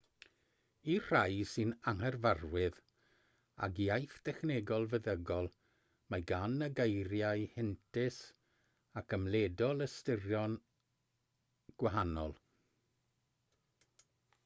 i'r rhai sy'n anghyfarwydd ag iaith dechnegol feddygol mae gan y geiriau heintus ac ymledol ystyron gwahanol